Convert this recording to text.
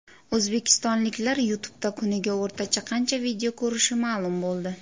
O‘zbekistonliklar YouTube’da kuniga o‘rtacha qancha video ko‘rishi ma’lum bo‘ldi.